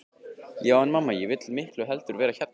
Já en mamma, ég vil miklu heldur vera hérna.